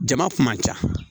Jama kun man ca